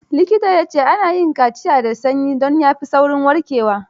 Likitan ya ce; ana yin kaciya da sanyi, don ta fi saurin warkewa.